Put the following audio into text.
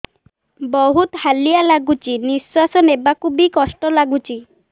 ବହୁତ୍ ହାଲିଆ ଲାଗୁଚି ନିଃଶ୍ବାସ ନେବାକୁ ଵି କଷ୍ଟ ଲାଗୁଚି